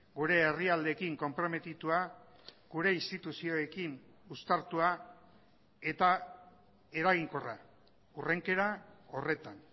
gure herrialdeekin konprometitua gure instituzioekin uztartua eta eraginkorra hurrenkera horretan